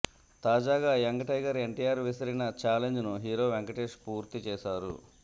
తాజాగా young tiger NTR విసిరిన ఛాలెంజ్ను హీరో వెంకటేశ్ పూర్తిచేశారు